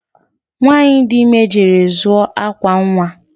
Nwanyị dị ime jere zụọ akwa nwa